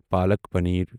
پالَک پنیر